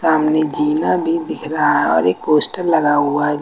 सामने जीना भी दिख रहा है और एक पोस्टर लगा हुआ है।